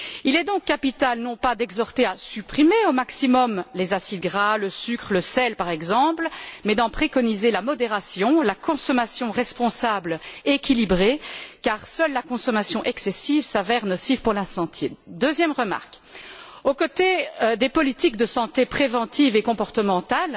Il est donc capital non pas d'exhorter à supprimer au maximum les acides gras, le sucre, le sel, par exemple, mais d'en préconiser la modération ainsi que la consommation responsable et équilibrée car seule la consommation excessive s'avère nocive pour la santé. Deuxièmement, aux côtés des politiques de santé préventive et comportementale,